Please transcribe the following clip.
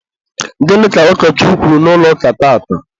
gịnị ka ụkọchukwu kwuru n'ụlọ ụka tata?